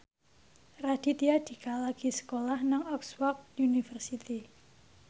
Raditya Dika lagi sekolah nang Oxford university